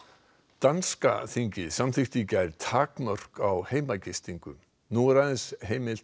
danska þingið samþykkti í gær takmörk á heimagistingu nú er aðeins heimilt